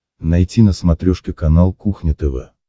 найти на смотрешке канал кухня тв